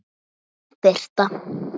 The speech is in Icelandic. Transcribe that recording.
Þín Birta.